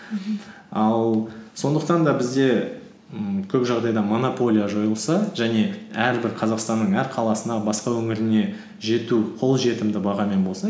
мхм ал сондықтан да бізде ммм көп жағдайда монополия жойылса және әрбір қазақстанның әр қаласына басқа өңіріне жету қолжетімді бағамен болса